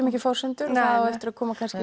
ekki forsendur það á eftir að koma